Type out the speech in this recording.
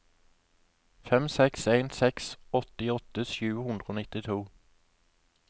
fem seks en seks åttiåtte sju hundre og nittito